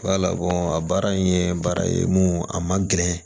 a baara in ye baara ye mun a man gɛlɛn